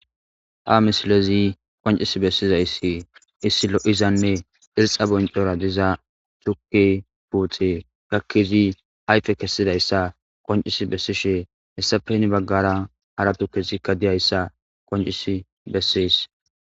Ha misilezi qoncis bessizayssi issi lo7izanne irxa boncora diza chuki puuxe gakkizi ayfe kessidayssa koncis bessishe hessapeni baggara haratu kesikka diyayssa qoncis bessees.